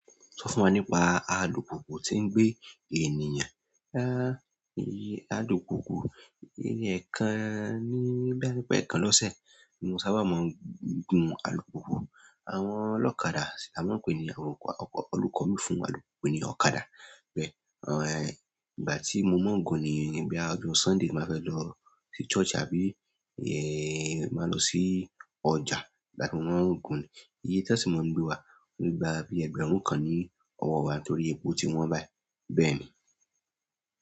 Sọ fún wa nípa alùpùpù tí ń gbé ènìyàn. Èyí alùpùpù, ẹ̀kan ni, bóyá wípé ẹ̀kan lọ́sẹ̀ ni mo sábà máa ń gùn alùpùpù. Àwọn ọlọ́kadà ni wón ń pè ní àwọn ọkọ, ọkọ, olùkọ́ mi fún alùpùpù pé ọ̀kadà. Bẹ́ẹ̀, ìgbà tí mo mọ̀ ọ́n gùn ni ìyẹn bóyá ọjọ́ Sunday mo máa fẹ́ lọ sí church àbí ẹ́ máa lọ sí ọjà, ìgbà tí mo má ń gùn ni. Iye tán sì máa ń gbé wá, wọ́n le gba bí ẹgbẹ̀rún kan ní ọwọ́ wa torí epo tí wọ́n bá bẹ́ẹ̀ ni.